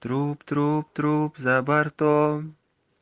труп труп труп за бортом